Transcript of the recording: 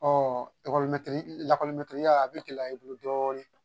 Ɔɔ a bi gɛlɛya i bolo dɔɔni.